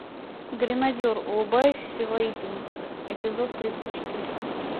гренадер улыбающаяся воительница эпизод тридцать четыре